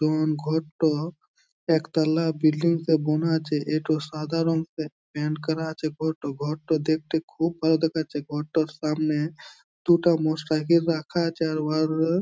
উম ঘরটো একতলা বিল্ডিং -এ বোনা আছে। এতো সাদা রং প্যান্ট করা আছে ঘোরটো ।ঘোরটো দেখতে খুব ভালো দেখাচ্ছে। ঘোরটোর সামনে দুটা মোটর সাইকেল রাখা আছে। আর উহার --